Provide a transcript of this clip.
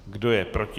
Kdo je proti?